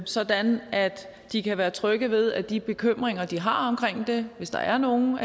sådan at de kan være trygge ved at de bekymringer de har omkring det hvis der er nogen